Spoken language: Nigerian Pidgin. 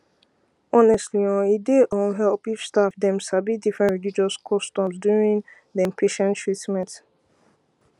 honestly[um]e dy um help if staff dem sabi different religious customs during dem patient treatment